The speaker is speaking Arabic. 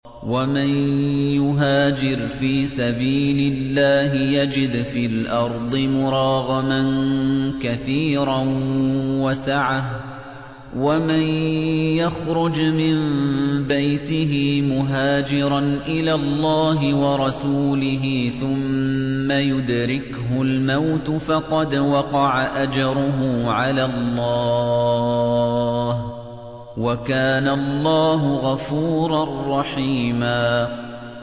۞ وَمَن يُهَاجِرْ فِي سَبِيلِ اللَّهِ يَجِدْ فِي الْأَرْضِ مُرَاغَمًا كَثِيرًا وَسَعَةً ۚ وَمَن يَخْرُجْ مِن بَيْتِهِ مُهَاجِرًا إِلَى اللَّهِ وَرَسُولِهِ ثُمَّ يُدْرِكْهُ الْمَوْتُ فَقَدْ وَقَعَ أَجْرُهُ عَلَى اللَّهِ ۗ وَكَانَ اللَّهُ غَفُورًا رَّحِيمًا